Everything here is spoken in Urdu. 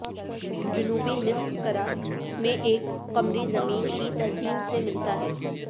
جنوبی نصف کرہ میں ایک قمری زمین کی تزئین سے ملتا ہے